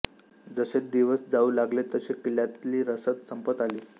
जसे दिवस जाऊ लागले तशी किल्ल्यातली रसद संपत आली